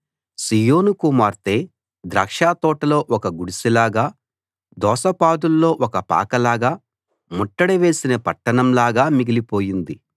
సీయోను కుమార్తె ద్రాక్షతోటలో ఒక గుడిసెలాగా దోసపాదుల్లో ఒక పాకలాగా ముట్టడి వేసిన పట్టణంలాగా మిగిలిపోయింది